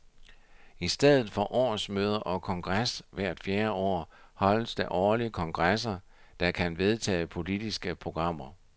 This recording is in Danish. I stedet for årsmøder og kongres hvert fjerde år holdes der årlige kongresser, der kan vedtage politiske programmer.